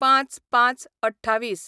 ०५/०५/२८